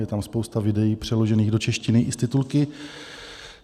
Je tam spousta videí přeložených do češtiny i s titulky.